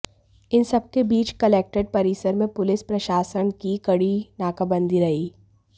इन सबके बीच कलक्ट्रेट परिसर में पुलिस प्रशासन की कड़ी नाकाबंदी रही